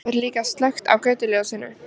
Svo er líka slökkt á götuljósinu.